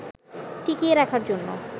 টিকিয়ে রাখার জন্য